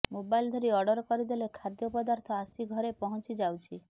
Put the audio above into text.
mobile ଧରି order କରିଦେଲେ ଖାଦ୍ୟ ପଦାର୍ଥ ଆସି ଘରେ ପହଞ୍ଚି ଯାଉଛି